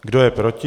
Kdo je proti?